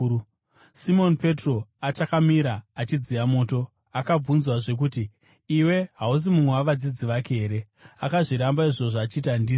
Simoni Petro achakamira achidziya moto, akabvunzwazve kuti, “Iwe hausi mumwe wavadzidzi vake here?” Akazviramba izvozvo, achiti, “Handizi.”